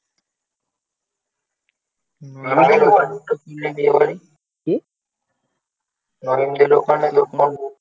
কি?